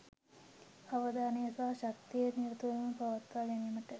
අවධානය සහ ශක්තිය නිරතුරුව පවත්වා ගැනීම